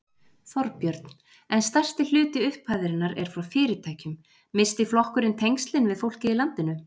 Þorbjörn: En stærsti hluti upphæðarinnar er frá fyrirtækjum, missti flokkurinn tengslin við fólkið í landinu?